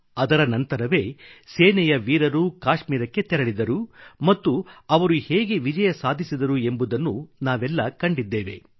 ಅದರ ನಂತರವೇ ಸೇನೆಯ ವೀರರು ಕಾಶ್ಮೀರಕ್ಕೆ ತೆರಳಿದರು ಮತ್ತು ಅವರು ಹೇಗೆ ವಿಜಯ ಸಾಧಿಸಿದರು ಎಂಬುದನ್ನು ನಾವೆಲ್ಲ ಕಂಡಿದ್ದೇವೆ